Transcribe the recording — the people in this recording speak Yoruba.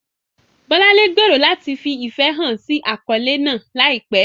Bolanle gbèrò láti fi ìfẹ́ hàn sí àkọ́lé náà láìpẹ́.